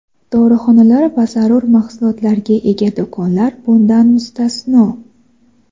dorixonalar va zarur mahsulotlarga ega do‘konlar bundan mustasno.